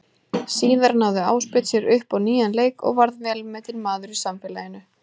Síðar náði Ásbjörn sér upp á nýjan leik og varð velmetinn maður í samfélaginu.